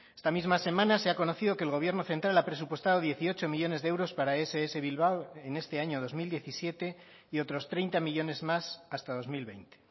esta misma semana se ha conocido que el gobierno central ha presupuestado dieciocho millónes de euros para ess bilbao en este año dos mil diecisiete y otros treinta millónes más hasta dos mil veinte